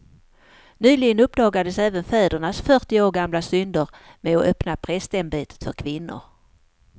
Nyligen uppdagades även fädernas fyrtio år gamla synder med att öppna prästämbetet för kvinnor.